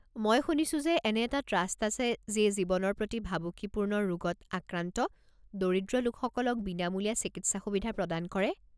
মই শুনিছো যে এনে এটা ট্ৰাষ্ট আছে যিয়ে জীৱনৰ প্ৰতি ভাবুকিপূৰ্ণ ৰোগত আক্ৰান্ত দৰিদ্ৰ ৰোগীসকলক বিনামূলীয়া চিকিৎসা সুবিধা প্ৰদান কৰে।